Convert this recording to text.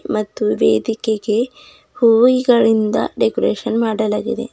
ಮತ್ತು ವೇದಿಕೆಗೆ ಹೂವಿಗಳಿಂದ ಡೆಕೋರೇಷನ್ ಮಾಡಲಾಗಿದೆ.